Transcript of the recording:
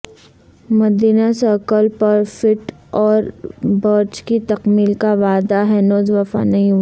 مدینہ circle پر foot over bridge کی تکمیل کا وعدہ ہنوز وفا نہیں ہوا